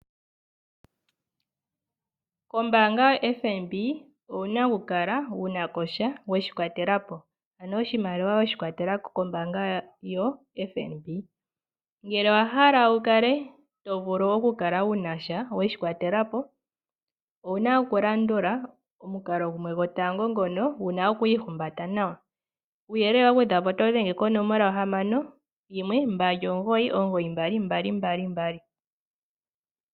Kombanga yo FNB owuna oku kala wunakosha weshi kwatelapo ano oshimaliwa weshi kwatelako kombanga yoFNB. Ngele owa hala wu kale to vulu oku kala wunasha weshi kwatelapo owuna oku landula omukalo gumwe gotango ngono wuna oku ihumbata nawa kuyelele wa gwedhwapo oto dhenge ko 0612992222.